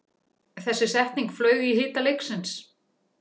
Þessi setning flaug í hita leiksins